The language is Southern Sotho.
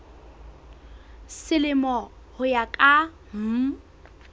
selemo ho ya ka mm